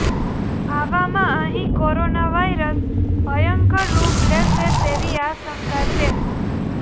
આવામાં અહીં corona virus ભયંકર રૂપ લેશે તેવી આશંકા છે